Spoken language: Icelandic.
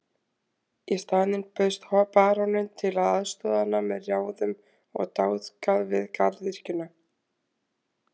Í staðinn bauðst baróninn til að aðstoða hana með ráðum og dáð við garðyrkjuna.